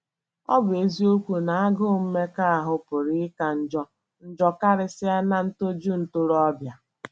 Ọ bụ eziokwu na agụụ mmekọahụ pụrụ ịka njọ njọ karịsịa ná “ ntoju ntorobịa. ”